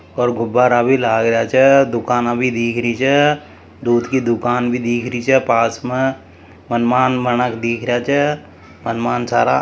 और गुब्बारा भी लाग रहिया छ दुकाना भी दिख रही छ दूध की दुकान भी दिख रही छ पास में मनमान मानक दिख रहिया छ मनमान सारा--